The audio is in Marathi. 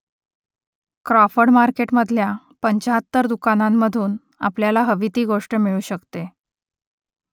क्रॉफर्ड मार्केटमधल्या पंचाहत्तर दुकानांमधून आपल्याला हवी ती गोष्ट मिळू शकते